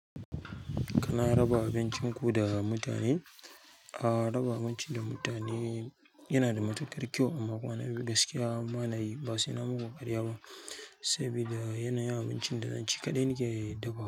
Kana raba abincin ku da mutane? Ah raba abinci da mutane yana da matuƙar kyau, amma kwana biyu gaskiya banayi ba sai nayi muku karya ba sabida yana yin abincin da zan ci kaɗai nake dafawa.